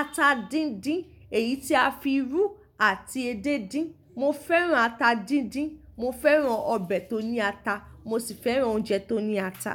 ata díndín, èyí tí a fi rú àti edé díndín. Mo fẹ́ràn ata díndín, mo fẹ́ràn ọbẹ̀ tó ní ata, mo sì fẹ́ràn oúnjẹ tó ní ata.